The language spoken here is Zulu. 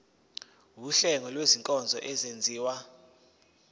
wuhlengo lwezinkonzo ezenziwa